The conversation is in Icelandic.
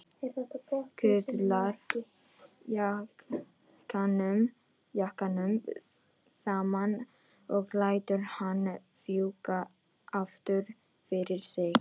Kuðlar jakkanum saman og lætur hann fjúka aftur fyrir sig.